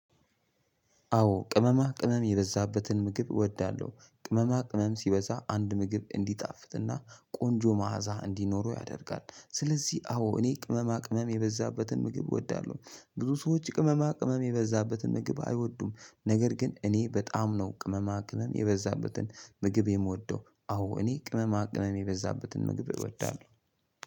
አዎ ቅመማ ቅመም የበዛበትን ምግብ እወዳለሁ። ቅመማ ቅመም ሲበዛ አንድ ምግብ እንዲጣፍጥና ቆንጆ መዓዛ እንዲኖረው ያደርጋል። ስለዚህ አዎ እኔ ቅመማ ቅመም የበዛበትን ምግብ እወዳለሁ። ብዙ ሰዎች ቅመማ ቅመም የበዛበትን ምግብ አይወዱም። ነገር ግን እኔ በጣም ነው ቅመማ ቅመም የበዛበትን ምግብ የምወደው። አዎ እኔ ቅመማ ቅመም የበዛበትን ምግብ እወዳለሁ።